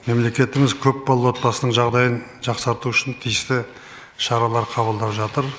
мемлекетіміз көпбалалы отбасының жағдайын жақсарту үшін тиісті шаралар қабылдап жатыр